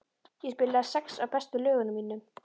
Ég spilaði sex af bestu lögunum mínum.